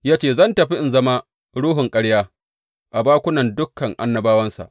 Ya ce, Zan tafi in zama ruhun ƙarya a bakunan dukan annabawansa.’